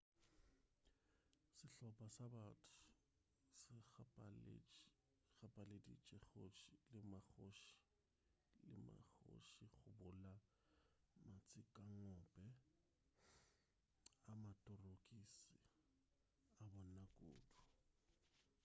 sehlopa sa batho se gapeleditše kgoši le mmakgoši go bula matshikangope a matorokisa a bona kudu